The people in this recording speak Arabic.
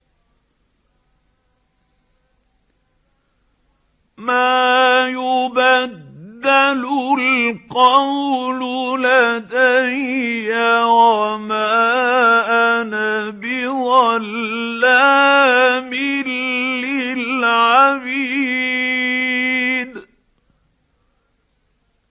مَا يُبَدَّلُ الْقَوْلُ لَدَيَّ وَمَا أَنَا بِظَلَّامٍ لِّلْعَبِيدِ